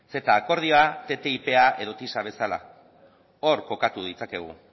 ceta akordioa ttipa edo tisa bezala hor kokatu ditzakegu